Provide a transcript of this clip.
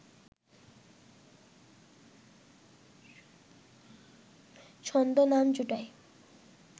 ছদ্মনাম জটায়ু